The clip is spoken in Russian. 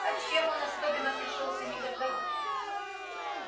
а чем он особенно пришёлся не ко двору